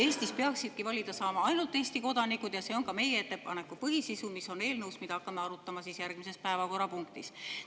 Eestis peaksidki valida saama ainult Eesti kodanikud ja see on ka meie ettepaneku põhisisu, mis on eelnõus, mida hakkame arutama järgmises päevakorrapunktis.